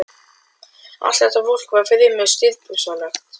Allt þetta fólk var fremur stirðbusalegt.